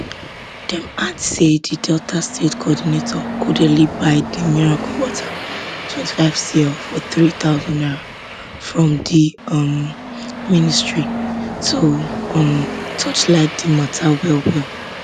dem add say di delta state coordinator codedly buy di miracle water twenty five cl for three thousand naira from di um ministry to um torchlight di mata wellwell